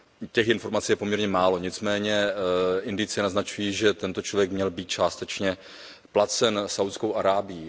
Těch informací je poměrně málo, nicméně indicie naznačují, že tento člověk měl být částečně placen Saúdskou Arábií.